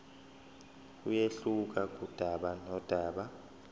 kuyehluka kudaba nodaba